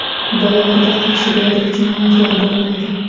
Bolalarga qarshi deyarli jinoyatlar bo‘lmaydi.